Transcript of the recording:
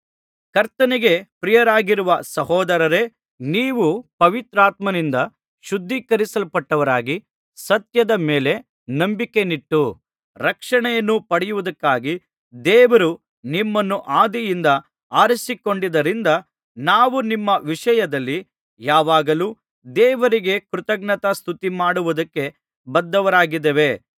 ಕರ್ತನಿಗೆ ಪ್ರಿಯರಾಗಿರುವ ಸಹೋದರರೇ ನೀವು ಪವಿತ್ರಾತ್ಮನಿಂದ ಶುದ್ಧೀಕರಿಸಲ್ಪಟ್ಟವರಾಗಿ ಸತ್ಯದ ಮೇಲೆ ನಂಬಿಕೆಯನ್ನಿಟ್ಟು ರಕ್ಷಣೆಯನ್ನು ಪಡೆಯುವುದಕ್ಕಾಗಿ ದೇವರು ನಿಮ್ಮನ್ನು ಆದಿಯಿಂದ ಆರಿಸಿಕೊಂಡಿದ್ದರಿಂದ ನಾವು ನಿಮ್ಮ ವಿಷಯದಲ್ಲಿ ಯಾವಾಗಲೂ ದೇವರಿಗೆ ಕೃತಜ್ಞತಾಸ್ತುತಿಮಾಡುವುದಕ್ಕೆ ಬದ್ಧರಾಗಿದ್ದೇವೆ